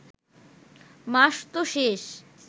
মাস ত শেষ